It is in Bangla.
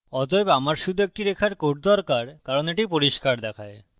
অতএব আমার শুধু একটি রেখার code দরকার কারণ এটি পরিষ্কার দেখায়